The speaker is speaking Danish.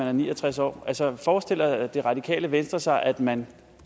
er ni og tres år altså forestiller det radikale venstre sig at man